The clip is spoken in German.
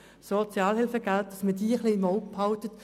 Das betrifft Leute mit sehr hohen Fallkosten.